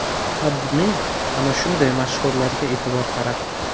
AdMe ana shunday mashhurlarga e’tibor qaratdi .